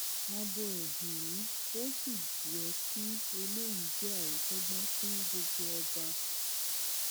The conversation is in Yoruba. abo ẹ nìyí o ò sì yẹ kí eléyìí jẹ àríkọgbọn fún gbogbo ọba